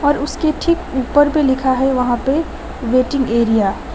और उसके ठीक ऊपर भी लिखा है वहां पे वेटिंग एरिया --